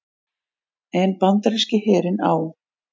en bandaríski herinn á